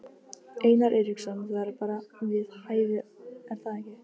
Einar Eiríksson: Það er bara við hæfi er það ekki?